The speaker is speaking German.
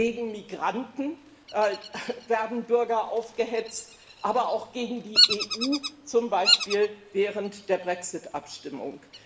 Gegen Migranten werden Bürger aufgehetzt, aber auch gegen die EU, zum Beispiel während der Brexit Abstimmung.